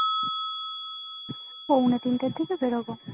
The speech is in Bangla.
পৌনে তিনটে থেকে বেরোবো